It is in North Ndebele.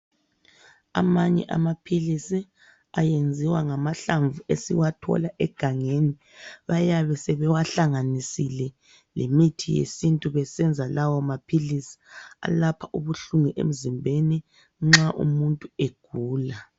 Amanye amaphilisi ayenziwa ngamahlamvu esiwathola egangeni. Bayabe sebewahlanganisile lemithi yesintu besenza lawo maphilisi, alapha ubuhlungu emzimbeni nxa umuntu egula.